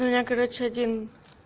у меня короче один